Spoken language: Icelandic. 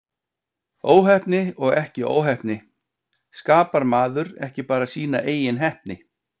Óheppni og ekki óheppni, skapar maður ekki bara sína eigin heppni?